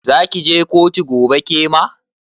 Zaki je kotu gobe kema?